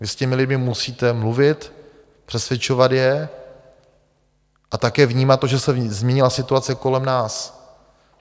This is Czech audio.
Vy s těmi lidmi musíte mluvit, přesvědčovat je a také vnímat to, že se změnila situace kolem nás.